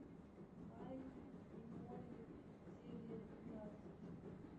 майк и молли серия пятнадцать